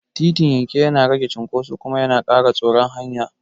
Titin yanke yana rage cunkoso kuma yana ƙara tsaron hanya.